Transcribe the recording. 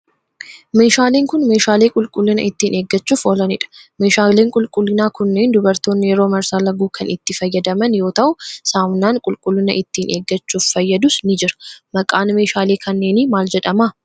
Meeshaaleen kun, meeshaalee qulqullina ittiin eeggachuuf oolaniidha. Meeshaaleen qulqullinaa kunneen dubartoonni yeroo marsaa laguu kan itti fayyadaman yoo ta'u, saamunaan qulqullina ittiin eeggachuuf fayyadus ni jira. Maqaan meeshaalee kanneenii maal jedhama?